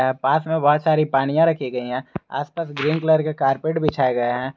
यहां पास में बहोत सारी पानिया रखी गई है आस पास ग्रीन कलर का कारपेट बिछाये गये है।